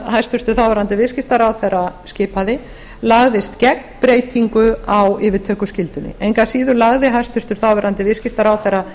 hæstvirtur þáv viðskiptaráðherra skipaði lagðist gegn breytingu á yfirtökuskyldunni engu að síður lagði hæstvirtur þáv viðskiptaráðherra